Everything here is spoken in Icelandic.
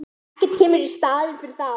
Ekkert kemur í staðinn fyrir þá.